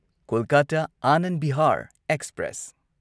Kolkata Anand Vihar express